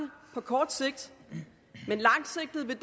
på kort sigt men langsigtet vil